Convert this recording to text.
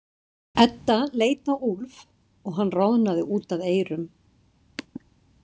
Edda leit á Úlf og hann roðnaði út að eyrum.